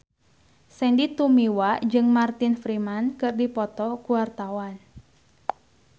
Sandy Tumiwa jeung Martin Freeman keur dipoto ku wartawan